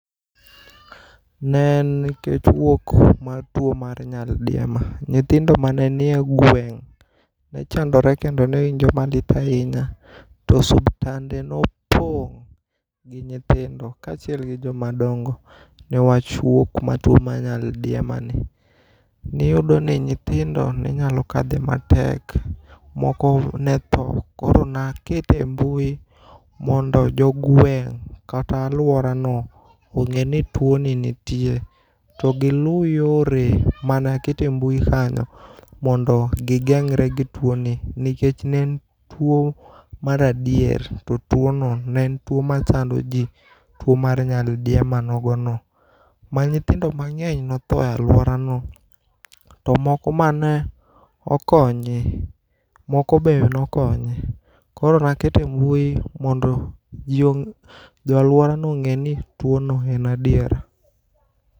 Ne en nikech wuok mar tuo mar nyaldiema. Nyithindo mane nie gweng' ne chandore kendo ne winjo malit ahinya. To suptande nopong' gi nyithindo kaachiel gi joma dongo. Newach wuok ma tuo mar nyaldiema ni. Niyudo ka nyithindo ne nyalo kadhe matek, moko ne tho. Koro na kete e mbui, mondo jo gweng' kata alwora no ong'eni tuo ni nitie. TYo gilu yore manakete mbui kanyo mondo gigeng're gi tuo ni. Nikech ne en tuo maradier, to tuono ne en tuo ma chando ji, tuo mar nyaldiemo nogo no. Ma nyithindo mang'eny notho e alwora no, to moko ma nokony, moko be nokonyu. Koro nakete mbui mondo ji ong' jo alworano ong'e ni tuo no en adiera.